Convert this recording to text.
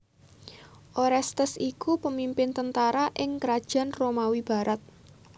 Orestes iku pemimpin tentara ing Krajaan Romawi barat